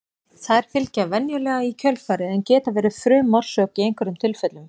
Þær fylgja venjulega í kjölfarið en geta verið frumorsök í einhverjum tilfellum.